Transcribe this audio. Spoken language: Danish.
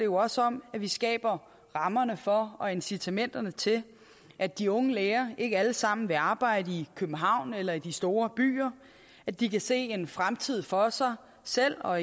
også om at vi skaber rammerne for og incitamenterne til at de unge læger ikke alle sammen vil arbejde i københavn eller i de store byer at de kan se en fremtid for sig selv og